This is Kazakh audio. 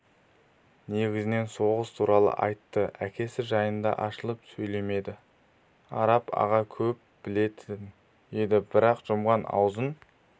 негізінен соғыс туралы айтты әкесі жайында ашылып сөйлемеді араб аға көп білетін еді бірақ жұмған аузын